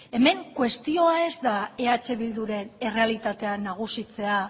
hemen kuestioa ez da eh bilduren errealitatea nagusitzea